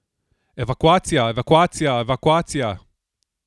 Evakuacija, evakuacija, evakuacija!